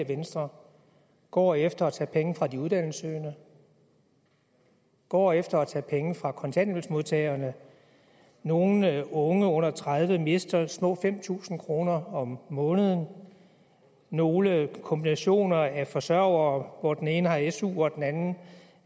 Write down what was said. venstre går efter at tage penge fra de uddannelsessøgende går efter at tage penge fra kontanthjælpsmodtagerne nogle unge under tredive år mister små fem tusind kroner om måneden nogle kombinationer af forsørgere hvor den ene har su og den anden